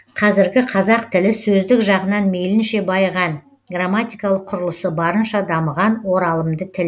қазіргі қазақ тілі сөздік жағынан мейлінше байыған грамматикалық құрылысы барынша дамыған оралымды тіл